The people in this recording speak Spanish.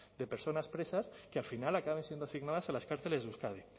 de personas presas que al final acaben siendo asignadas a las cárceles de euskadi